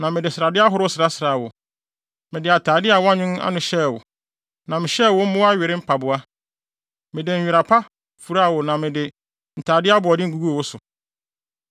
Mede atade a wɔanwen ano hyɛɛ wo, na mehyɛɛ wo mmoa were mpaboa. Mede nwera papa furaa wo na mede ntade aboɔden guguu so.